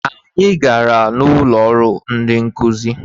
Anyị gara n' ụlọrụ ndị nkụzị.